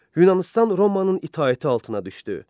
Yunanistan Romanın itaəti altına düşdü.